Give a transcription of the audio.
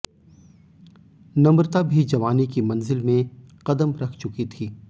नम्रता भी जवानी की मंजिल में कदम रख चुकी थी